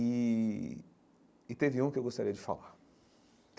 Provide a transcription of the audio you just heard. E e teve um que eu gostaria de falar.